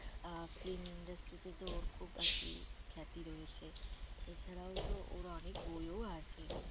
আহ film industry তে তো ওর খুব আরকি খ্যাতি রয়েছে এছাড়াও তো ওর অনেক বইও আছে।